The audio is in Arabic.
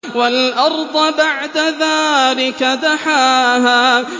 وَالْأَرْضَ بَعْدَ ذَٰلِكَ دَحَاهَا